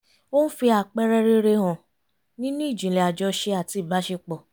ó ń fi àpẹẹrẹ rere hàn nínú ìjìnlẹ̀ àjọṣe àti ìbáṣepọ̀